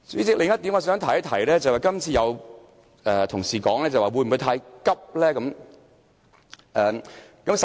代理主席，我想提出另一點，有同事問會否太趕急？